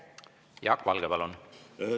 Jaak Valge, palun!